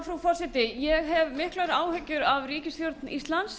frú forseti ég hef miklar áhyggjur af ríkisstjórn íslands